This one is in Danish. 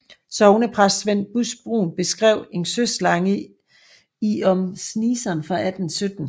Sognepræst Svend Busch Brun beskrev en søslange i Om Sneaasen fra 1817